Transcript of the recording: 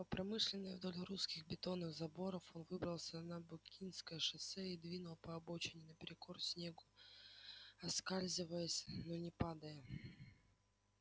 по промышленной вдоль русских бетонных заборов он выбрался на букинское шоссе и двинул по обочине наперекор снегу оскальзываясь но не падая